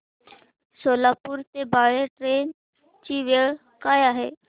सोलापूर ते बाळे ट्रेन ची वेळ काय आहे